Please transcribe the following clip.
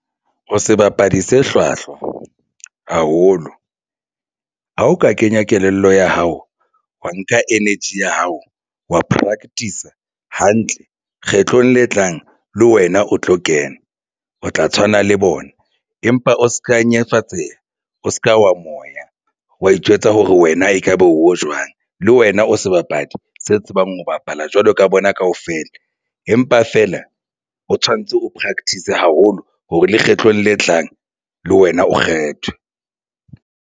O sebapadi se hlwahlwa haholo ha o ka kenya kelello ya hao, wa nka energy ya hao wa practice-a hantle. Kgetlong le tlang le wena o tlo kena o tla tshwana le bona empa o se ka nyenyefatseha o se ka wa moya wa itjwetsa hore wena ekaba o jwang le wena o sebapadi se tsebang ho bapala jwalo ka bona kaofela. Empa feela o tshwantse o practice haholo hore lekgetlong le tlang le wena o kgethwe.